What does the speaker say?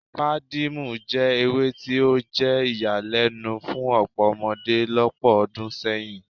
Pàdímọ́ jẹ́ ewé tí ó jẹ́ ìyàlẹ́nu fún ọ̀pọ̀ ọmọdé lọ́pọ̀ ọdún sẹ́yìn